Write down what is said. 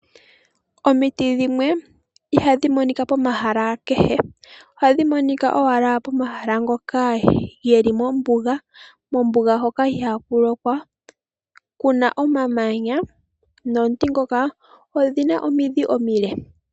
Omiti dhimwe ihadhi monika pomahala kehe, ohadhi monika owala pomahala ngoka ge li mombuga. Mombuga moka ihaamu lokwa, mu na omamanya, nomiti ndhoka odhi na omidhi omile.